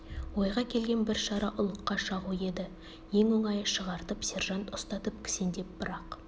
ойға келген бір шара ұлыққа шағу еді ең оңайы шығартып сержант ұстатып кісендеп бірақ